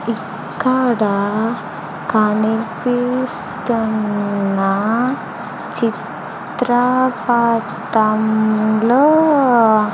ఇక్కడ కనిపిస్తున్న చిత్రపటంలో --